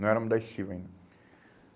Não éramos da ainda.